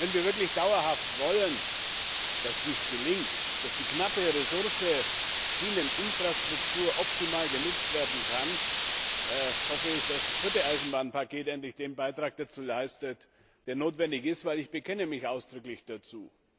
Wenn wir wirklich dauerhaft wollen, dass dies gelingt, dass die knappe Ressource Schieneninfrastruktur optimal genutzt werden kann, hoffe ich, dass das vierte Eisenbahnpaket endlich den Beitrag dazu leistet, der notwendig ist, denn ich bekenne mich ausdrücklich dazu.